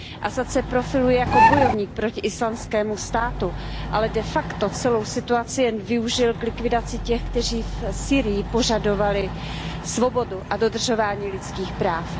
Asad se profiluje jako bojovník proti Islámskému státu, ale de facto celou situaci jen využil k likvidaci těch, kteří v Sýrii požadovali svobodu a dodržování lidských práv.